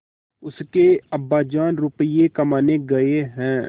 उसके अब्बाजान रुपये कमाने गए हैं